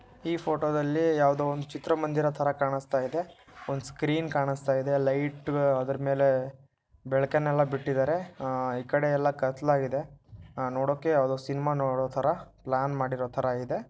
ಈ ಫೋಟೊ ದಲ್ಲಿ ಯಾವುದೋ ಒಂದು ಚಿತ್ರಮಂದಿರ ತರ ಕಾಣುಸ್ತಾಯಿದೆ ಒಂದು ಸ್ಕ್ರೀನ್ ಕಾಣುಸ್ತಾಯಿದೆ ಲೈಟ್ ರು ಅದ್ರುಮೇಲೆ ಬೆಳಕನ್ನೆಲ್ಲಾ ಬಿಟ್ಟಿದ್ದಾರೆ ಅಹ್ ಈ ಕಡೆ ಎಲ್ಲ ಕತ್ತಲಾಗಿದೆ ಅಹ್ ನೋಡೋಕೆ ಯಾವ್ದೋ ಸಿನೆಮಾ ನೋಡೋತರ ಪ್ಲಾನ್ ಮಾಡಿರೊತರ ಇದೆ.